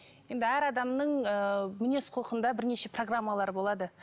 енді әр адамның ы мінез құлқында бірнеше программалар болады